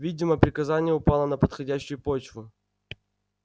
видимо приказание упало на подходящую почву